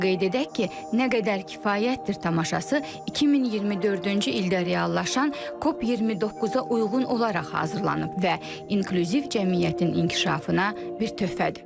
Onu da qeyd edək ki, nə qədər kifayətdir tamaşası 2024-cü ildə reallaşan COP29-a uyğun olaraq hazırlanıb və inklüziv cəmiyyətin inkişafına bir töhfədir.